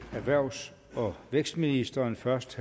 erhvervs og vækstministeren først